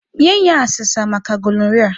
Nye ya asesa maka gonoria.